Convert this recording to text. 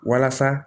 Walasa